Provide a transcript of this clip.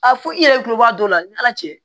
A fɔ i yɛrɛ kulo b'a dɔ la ni ala cɛ